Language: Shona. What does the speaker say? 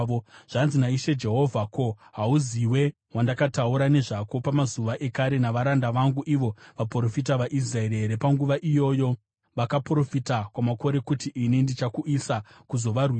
“ ‘Zvanzi naIshe Jehovha: Ko, hauziwe wandakataura nezvako pamazuva ekare navaranda vangu ivo vaprofita vaIsraeri here? Panguva iyoyo vakaprofita kwamakore kuti ini ndichakuuyisa kuzovarwisa.